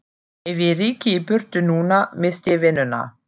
Ef ég ryki í burtu núna missti ég vinnuna.